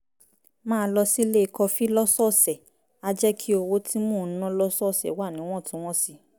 máa lọ sílé kọfí lọ́sọ̀ọ̀sẹ̀ á jẹ́ kí owó tí mò ń ná lọ́sọ̀ọ̀sẹ̀ wà níwọ̀ntúnwọ̀nsì